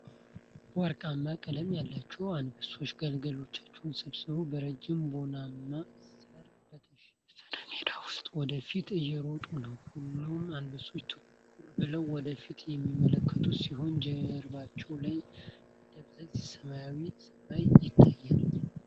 ወርቃማ ቀለም ያላቸው የአንበሳ ግልገሎች ስብስብ በረጅም ቡናማ ሣር በተሸፈነ ሜዳ ውስጥ ወደ ፊት እየሮጠ ነው። ሁሉም አንበሶች ትኩር ብለው ወደ ፊት የሚመለከቱ ሲሆን፣ ጀርባቸው ላይ ደብዛዛ ሰማያዊ ሰማይ ይታያል።